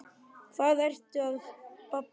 Hvað ertu að babla?